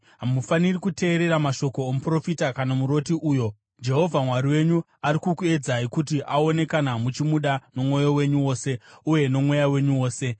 hamufaniri kuteerera mashoko omuprofita kana muroti uyo. Jehovha Mwari wenyu ari kukuedzai kuti aone kana muchimuda nomwoyo wenyu wose uye nomweya wenyu wose.